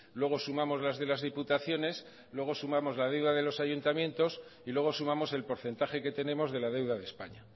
luego sumamos las de las diputaciones luego sumamos la deuda de los ayuntamientos y luego sumamos el porcentaje que tenemos de la deuda de españa